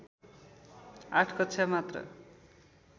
आठ कक्षा मात्र